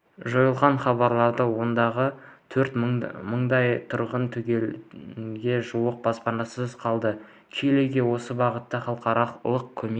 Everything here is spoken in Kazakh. жойылғанын хабарлады ондағы төрт мыңдай тұрғын түгелге жуық баспанасыз қалды чилиге осы бағатта халықаралық көмек